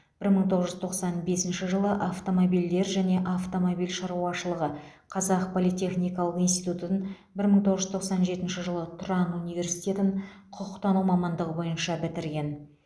бір мың тоғыз жүз тоқсан бесінші жылы автомобильдер және автомобиль шаруашылығы қазақ политехникалық институтутын бір мың тоғыз жүз тоқсан жетінші жылы тұран университетін құқықтану мамандығы бойынша бітірген